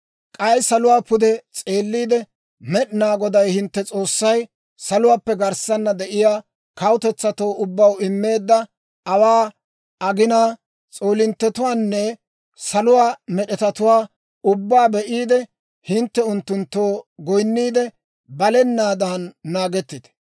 K'ay saluwaa pude s'eelliide, Med'inaa Goday hintte S'oossay saluwaappe garssana de'iyaa kawutetsatoo ubbaw immeedda aawaa, aginaa, s'oolinttetuwaanne saluwaa med'etatuwaa ubbaa be'iide, hintte unttunttoo goyinniide, balenaadan naagettite.